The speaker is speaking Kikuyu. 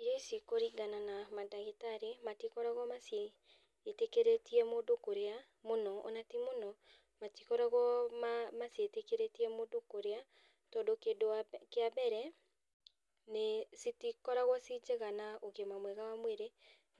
Irio ici kũringana na mandagĩtarĩ, matikoragwo maciĩtĩkĩrĩtie mũndũ kũrĩa, mũno, ona ti mũno, matikoragwo ma maciĩtĩkĩrĩtie mũndũ kũrĩa, tondũ kĩndũ wa mbere kĩa mbere, citikoragwo ciĩ njega na ũgima mwega wa mwĩrĩ,